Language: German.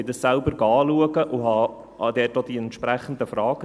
Ich ging es selbst anschauen und stellte auch die entsprechenden Fragen.